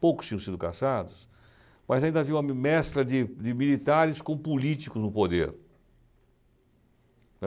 Poucos tinham sido caçados, mas ainda havia uma me mescla de de militares com políticos no poder.